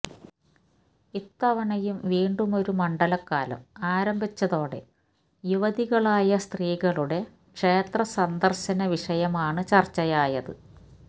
ഇത്തവണയും വീണ്ടുമൊരു മണ്ഡലകാലം ആരംഭിച്ചതോടെ യുവതികളായ സ്ത്രീകളുടെ ക്ഷേത്ര സന്ദർശന വിഷയമാണ് ചർച്ചയായത്